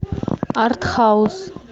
арт хаус